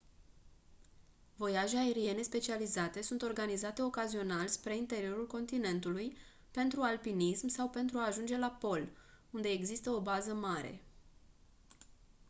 voiaje aeriene specializate sunt organizate ocazional spre interiorul continentului pentru alpinism sau pentru a ajunge la pol unde există o bază mare